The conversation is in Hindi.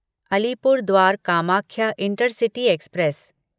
Alipurduar Kamakhya intercity express